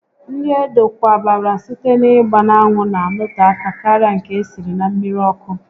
Nri edokwabara site n'ịgba n'anwụ na anọte aka karịa nke esiri na mmiri ọkụ